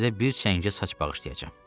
İndi sizə bir çəngə saç bağışlayacağam.